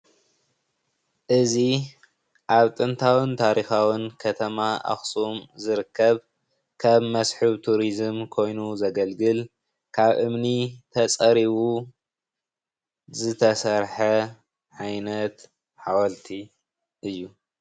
እዚ ኣብ ጥንታውን ታሪኻውን ከተማ ኣኽሱም ዝርከብ ከም መስሕብ ቱሪዝም ኮይኑ ዘገልግል ካብ እምኒ ተፀሪቡ ዝተሰርሐ ዓይነት ሓወልቲ እዩ።